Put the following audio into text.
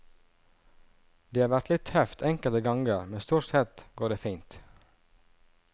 Det har vært litt tøft enkelte ganger, men stort sett går det fint.